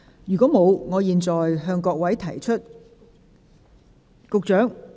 如果沒有，我現在向各位提出......